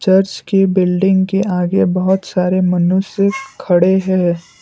Church के building के आगे बहुत सारे मनुष्य खड़े हैं।